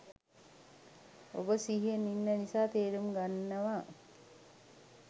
ඔබ සිහියෙන් ඉන්න නිසා තේරුම් ගන්නව